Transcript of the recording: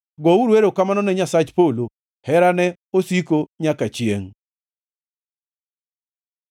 Gouru erokamano ne Nyasach polo, Herane osiko nyaka chiengʼ.